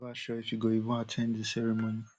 e still never sure if e go even at ten d di ceremony